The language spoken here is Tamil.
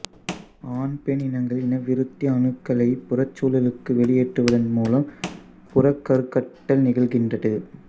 ஆண் பெண் இனங்கள் இனவிருத்தி அணுக்களை புறச்சூழலுக்கு வெளியேற்றுவதன் மூலம் புறக் கருக்கட்டல் நிகழ்கின்றது